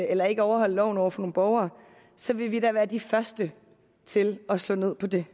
eller ikke overholde loven over for nogle borgere så vil vi da være de første til at slå ned på det